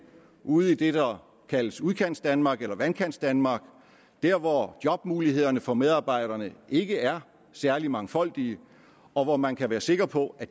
ude i det der kaldes udkantsdanmark eller vandkantsdanmark der hvor jobmulighederne for medarbejderne ikke er særlig mangfoldige og hvor man kan være sikker på at